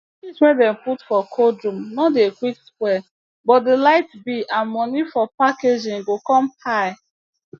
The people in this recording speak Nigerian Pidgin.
fish wey dem put for cold room no dey quick spoil but d light bill and money for packaging go come high